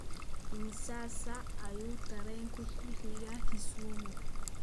Imisa saac ayuu tareenku ku xigaa Kisumu?